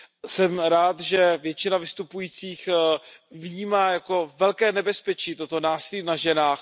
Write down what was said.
Jsem rád, že většina vystupujících vnímá jako velké nebezpečí toto násilí na ženách.